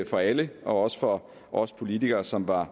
for alle og også for os politikere som var